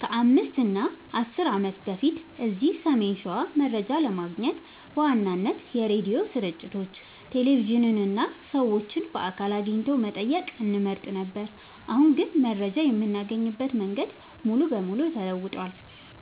ከ5 እና 10 ዓመት በፊት እዚህ ሰሜን ሸዋ መረጃ ለማግኘት በዋናነት የሬዲዮ ስርጭቶችን፣ ቴሌቪዥንን እና ሰዎችን በአካል አግኝቶ መጠየቅን እንመርጥ ነበር። አሁን ግን መረጃ የምናገኝበት መንገድ ሙሉ በሙሉ ተለውጧል።